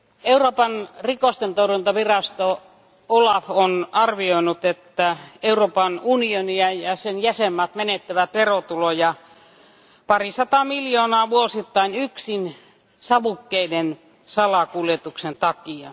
Euroopan petostentorjuntavirasto OLAF on arvioinut, että Euroopan unioni ja sen jäsenmaat menettävät verotuloja parisataa miljoonaa euroa vuosittain yksin savukkeiden salakuljetuksen takia.